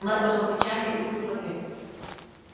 мэр пожал плечами и выпил воды